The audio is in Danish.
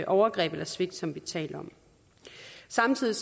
overgreb eller svigt som vi taler om samtidig